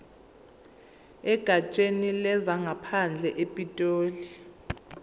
egatsheni lezangaphandle epitoli